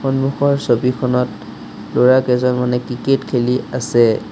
সন্মুখৰ ছবিখনত ল'ৰা কেইজনমানেকিকেট খেলি আছে।